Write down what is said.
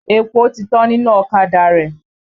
Epo ti tán nínú ọ̀kadà rẹ.